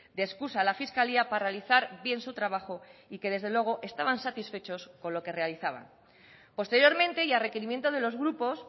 de excusa a la fiscalía para realizar bien su trabajo y que desde luego estaban satisfechos con lo que realizaban posteriormente y a requerimiento de los grupos